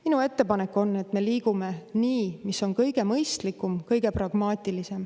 Minu ettepanek on, et me liigume nii, nagu on kõige mõistlikum, kõige pragmaatilisem.